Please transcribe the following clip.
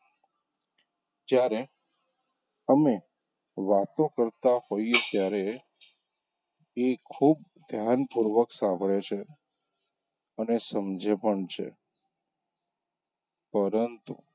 જયારે અમે વાતો કરતાં હોઈએ ત્યારે એ ખુબ ધ્યાનપૂર્વક સાંભળે છે અને સમજે પણ છે પરંતુ,